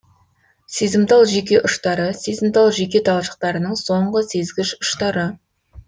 сезімтал жүйке ұштары сезімтал жүйке талшықтарының соңғы сезгіш ұштары